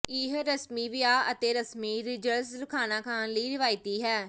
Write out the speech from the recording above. ਇਹ ਰਸਮੀ ਵਿਆਹ ਅਤੇ ਰਸਮੀ ਰਿਜਰਸਲ ਖਾਣਾ ਖਾਣ ਲਈ ਰਵਾਇਤੀ ਹੈ